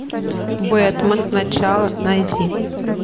бэтмен начало найди